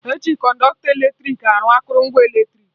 Eji Kọnọktọ eletrik arụ akụrụngwa eletrik